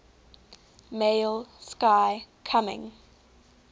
male sky coming